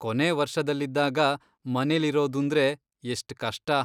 ಕೊನೇ ವರ್ಷದಲ್ಲಿದ್ದಾಗ ಮನೇಲಿರೋದೂಂದ್ರೆ ಎಷ್ಟ್ ಕಷ್ಟ.